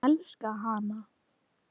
Ég elska hana.